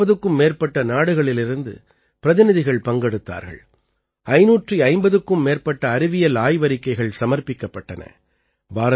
இதிலே 40க்கும் மேற்பட்ட நாடுகளிலிருந்து பிரதிநிதிகள் பங்கெடுத்தார்கள் 550க்கும் மேற்பட்ட அறிவியல் ஆய்வறிக்கைகள் சமர்ப்பிக்கப்பட்டன